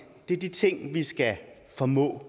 det er de ting vi skal formå